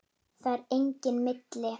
Það er enginn milli